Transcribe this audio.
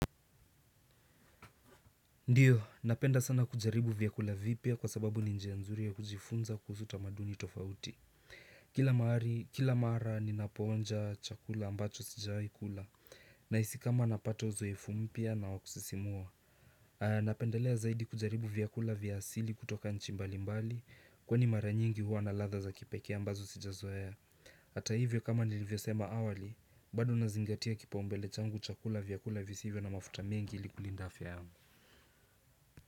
Ndiyo, napenda sana kujaribu vyakula vipya kwa sababu ni njia nzuri ya kujifunza kuhusu tamaduni tofauti. Kila mara ninapoonja chakula ambacho sijawai kula nahisi kama napata uzoefu mpya na wa kusisimua. Napendelea zaidi kujaribu vyakula vya asili kutoka nchi mbalimbali kwani mara nyingi huwa na ladha za kipekee ambazo sijazoea. Hata hivyo kama nilivyosema awali, bado nazingatia kipaumbele changu chakula vyakula visivyo na mafuta mengi ili kulinda afya yangu.